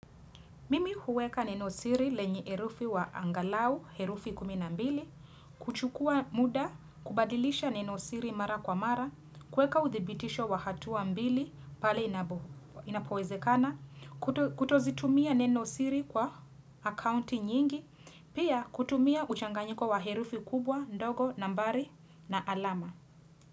Mimi huweka nenosiri lenye herufi wa angalau, herufi kuminambili, kuchukua muda, kubadilisha nenosiri mara kwa mara, kuweka uthibitisho wa hatuwa mbili, pale inapoze kana, kutozitumia nenosiri kwa akaunti nyingi, pia kutumia uchanganyiko wa herufi kubwa, ndogo, nambari, na alama.